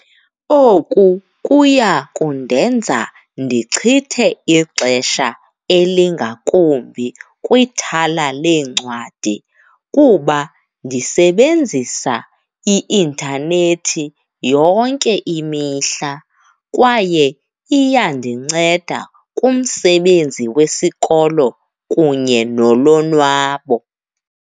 Oku kuya kundenza ndichithe ixesha elingakumbi kwithala leencwadi kuba ndisebenzisa i-intanethi yonke imihla kwaye iyandinceda kumsebenzi wesikolo kunye nolonwabo.